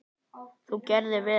Þú gerðir vel!